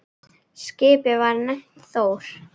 Skipið var nefnt Þór.